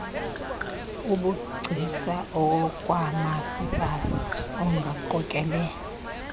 obugcisa okwamasipala angaqokele